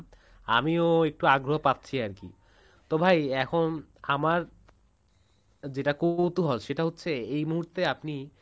আমিও একটু আগ্রহ পাচ্ছি আরকি তো ভাই এখন আমার যেটা কৌতূহল সেটা হচ্ছে এই মুহূর্তে আপনি